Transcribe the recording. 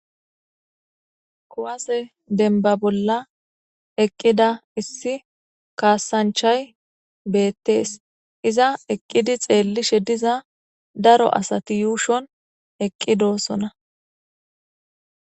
kuwase denba bolla eqqida issi kaasanchay beettees iza eqqidi xeellishe diza daro asati yuushon eqqi doossona